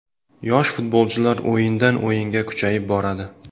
Yosh futbolchilar o‘yindan o‘yinga kuchayib boradi.